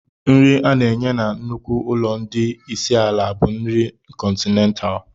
Nri a na-enye na nnukwu ụlọ ndị isi ala bụ nri kọntinentaalụ.